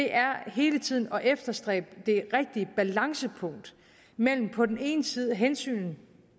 er hele tiden at efterstræbe det rigtige balancepunkt mellem på den ene side hensynet